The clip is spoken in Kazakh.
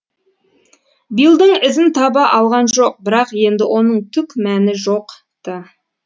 биллдің ізін таба алған жоқ бірақ енді оның түк мәні жоқ ты